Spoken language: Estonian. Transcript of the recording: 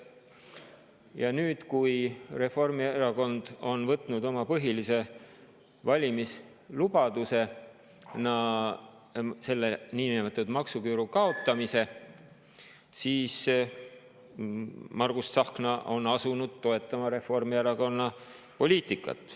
Ja nüüd, kui Reformierakond on võtnud niinimetatud maksuküüru kaotamise oma põhiliseks valimislubaduseks, on Margus Tsahkna asunud toetama Reformierakonna poliitikat.